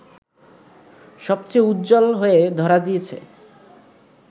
সবচেয়ে উজ্জ্বল হয়ে ধরা দিয়েছ